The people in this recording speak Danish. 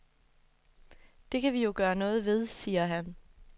Det kan vi jo gøre noget ved, siger han.